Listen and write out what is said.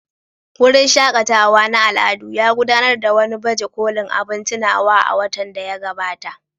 Wurin shaƙatawa na al'adu ya gudanar da wani baje kolin abin tunawa a watan da ya gabata.